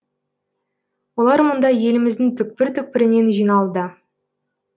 олар мұнда еліміздің түкпір түкпірінен жиналды